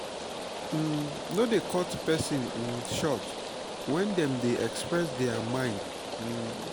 um no dey cut person um short when dem dey express their mind um